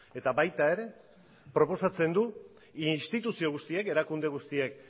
eta baita ere proposatzen du instituzio guztiek erakunde guztiek